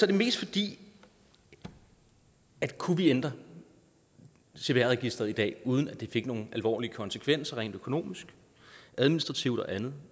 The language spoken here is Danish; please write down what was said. det mest fordi at kunne vi ændre cpr registeret i dag uden at det fik nogen alvorlige konsekvenser rent økonomisk administrativt og andet